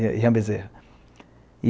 Rian Bezerra.